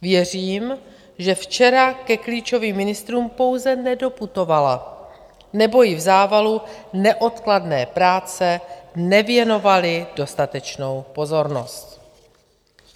Věřím, že včera ke klíčovým ministrům pouze nedoputovala nebo ji v závalu neodkladné práce nevěnovali dostatečnou pozornost.